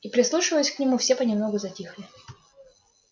и прислушиваясь к нему все понемногу затихли